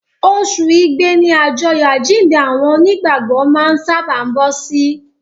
Oṣù Igbe ni àjọyọ̀ àjíǹde àwọn Onígbàgbọ́ máa ń sábàá bọ́ sí.